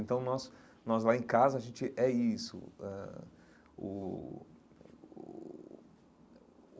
Então, nós nós lá em casa, a gente é isso ãh uh uh.